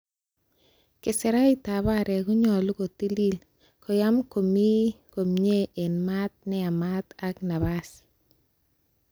Keserait ab aarek konyolu kotiliil, koyaam ak komi komie en maat neyamat ak napas.